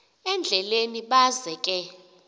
endleleni baza ke